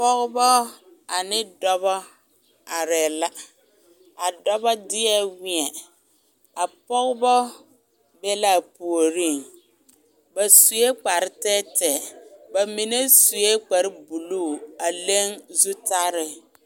Pɔgeba ane dɔba arɛɛ la a dɔba deɛ weɛŋ a pɔgeba be l,a puoriŋ ba sue kpare tɛɛtɛɛ ba mine sue kparebulu a leŋ zutare.